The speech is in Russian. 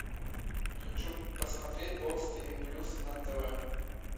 хочу посмотреть бокс тв плюс на тв